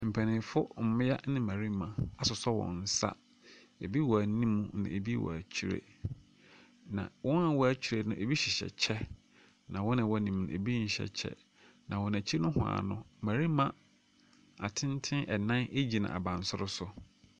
Mpanyimfo mmea ne mmarima asosɔ wɔn nsa. Ebi wɔ anim, ebi wɔ akyire. Na wɔn a wɔwɔ akyire no, ebi hyɛ kyɛ. Na wɔn a wɔwɔ anim no ebi nhyɛ kyɛ. Na wɔn akyi nohwaa no, mmarima atenten nan gyina abansoro so.